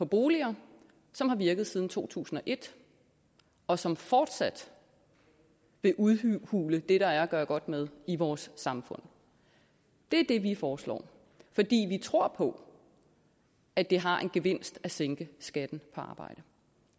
boliger som har virket siden to tusind og et og som fortsat vil udhule det der er at gøre godt med i vores samfund det er det vi foreslår fordi vi tror på at det har en gevinst at sænke skatten på arbejde